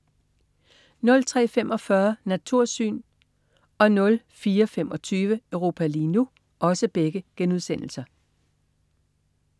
03.45 Natursyn* 04.25 Europa lige nu*